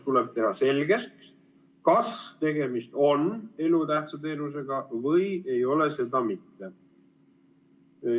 Tuleb teha selgeks, kas tegemist on elutähtsa teenusega või ei ole seda mitte.